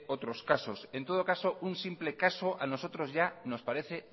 otros casos en todo caso un simple caso a nosotros nos parece